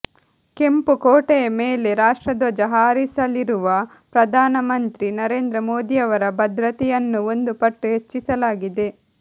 ಕೆಂಪು ಕೋಟೆಯ ಮೇಲೆ ರಾಷ್ಟ್ರಧ್ವಜ ಹಾರಿಸಲಿರುವ ಪ್ರಧಾನಮಂತ್ರಿ ನರೇಂದ್ರ ಮೋದಿಯವರ ಭದ್ರತೆಯನ್ನೂ ಒಂದು ಪಟ್ಟು ಹೆಚ್ಚಿಸಲಾಗಿದೆ